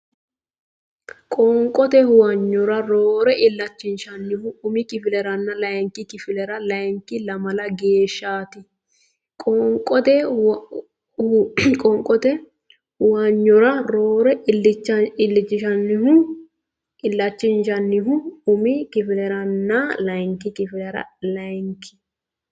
Qoonqote huwanyora roore illanchinshoonnihu umi kifileranna layinki kifilera leyikki lamala geeshshaati Qoonqote huwanyora roore illanchinshoonnihu umi kifileranna layinki kifilera leyikki.